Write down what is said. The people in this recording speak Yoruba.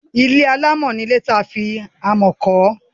ilé alámọ̀ ni ilé tí a fi amọ̀ kọ́.